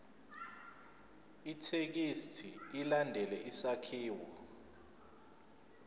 ithekisthi ilandele isakhiwo